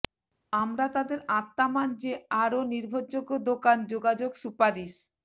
আমরা তাদের আত্মা মান যে আরো নির্ভরযোগ্য দোকান যোগাযোগ সুপারিশ